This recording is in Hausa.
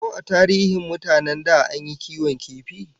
Ko a tarihin mutanen da an yi kiwon kifi?